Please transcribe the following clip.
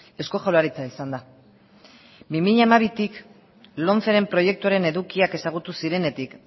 eusko jaurlaritza izan da bi mila hamabitik lomceren proiektuaren edukiak ezagutu zirenetik